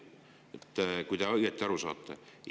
saate õigesti aru.